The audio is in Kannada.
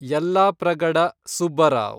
ಯಲ್ಲಾಪ್ರಗಡ ಸುಬ್ಬರಾವ್